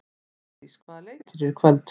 Álfdís, hvaða leikir eru í kvöld?